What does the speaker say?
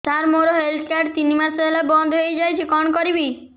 ସାର ମୋର health card ତିନି ମାସ ହେଲା ବନ୍ଦ ହେଇଯାଇଛି କଣ କରିବି